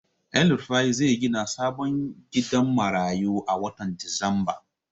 Elrufai zai gina sabon gidan marayu a watan disamba.